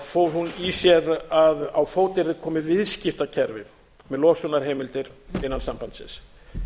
fól hún í sér að á fót yrði komið viðskiptakerfi með losunarheimildir innan sambandsins